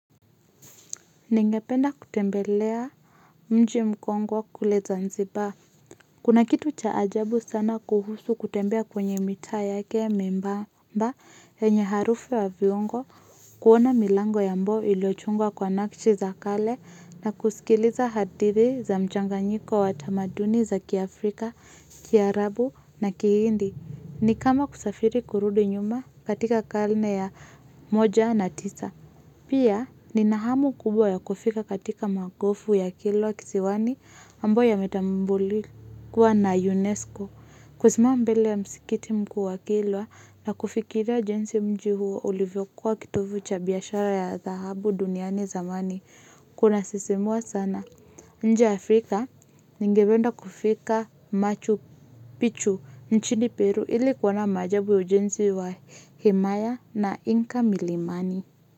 Ningependa kutembelea mji mkongo kule zanzibar. Kuna kitu cha ajabu sana kuhusu kutembea kwenye mitaa yake mimbamba yenye harufu wa viungo. Kuona milango ya mbo ilochungwa kwa nakchi za kale na kusikiliza hadithi za mchanga nyiko wa tamaduni za kiafrika, kiarabu na kihindi. Ni kama kusafiri kurudi nyuma katika karne ya moja na tisa. Pia nina hamu kubwa ya kufika katika magofu ya kilwa kisiwani ambao yametambuliwa na UNESCO. Kusimama mbele ya msikiti mkuu wa kilwa na kufikira jenzi mji huo ulivyo kuwa kitovu cha biashara ya dhahabu duniani zamani. Kuna sisimua sana. Ne Afrika ningependa kufika machu pichu nchini Peru ili kuona majabu ya ujenzi wa himaya na Inka Milimani.